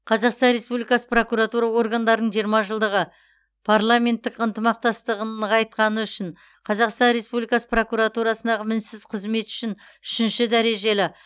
қазақстан республикасы прокуратура органдарының жиырма жылдығы парламенттік ынтымақтастығын нығайтқаны үшін қазақстан республикасы прокуратурасындағы мінсіз қызмет үшін үшінші дәрежелі